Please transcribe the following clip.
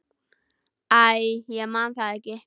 Æ, ég man það ekki.